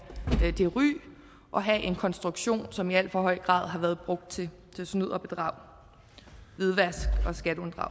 det ry og have en konstruktion som i alt for høj grad har været brugt til snyd og bedrag hvidvask